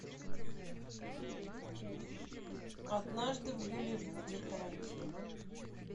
однажды в голливуде тарантино